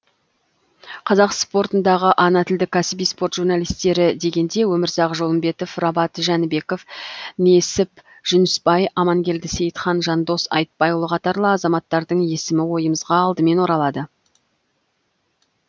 қазақ спортындағы ана тілді кәсіби спорт журналистері дегенде өмірзақ жолымбетов рабат жәнібеков несіп жүнісбай амангелді сейітхан жандос айтбайұлы қатарлы азаматтардың есімі ойымызға алдымен оралады